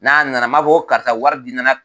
N'a nana n b'a fɔ ko karisa wari bi nana